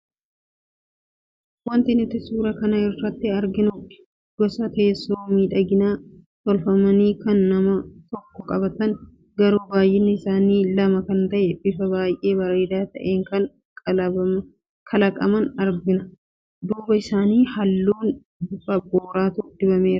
Wanti nuti suuraa kana irraa arginu gosa teessoo miidhaganii tolfaman kan nama tokko qabatan garuu baay'inni isaanii lama kan ta'e bifa baay'ee bareedaa ta'een kan kalaqaman argina, duuba isaanii halluu bifa booratu dibameera.